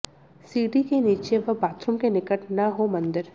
सीढ़ी के नीचे व बाथरूम के निकट न हो मंदिर